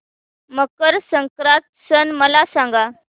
मकर संक्रांत सण मला सांगा